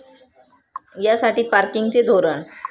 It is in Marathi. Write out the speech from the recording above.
यासाठी पार्किंगचे धोरण